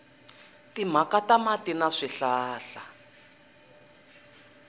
timhaka ta mati na swihlahla